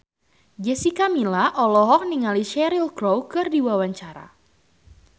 Jessica Milla olohok ningali Cheryl Crow keur diwawancara